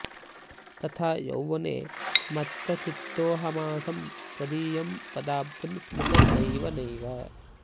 तथा यौवने मत्तचित्तोहमासं त्वदीयं पदाब्जं स्मृतं नैव नैव